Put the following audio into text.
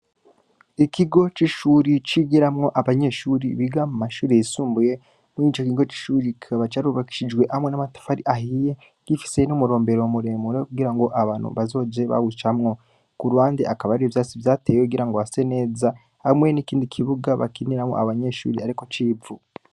Ikigo c'ishure cigiramwo Abanyeshure Biga mumashure yisumbuye, muroco kigo c'ishure kikaba carubakishijwe hamwe n'amatafari ahiye, gifise n'umurombero muremure, kugirango abantu bazoze bawucamwo. Kuruhande hakaba hari ivyatsi vyatewe, kugira ngo hase neza, hamwe nikindi kibuga bakiniramwo abanyeshure, ariko c'Ivu.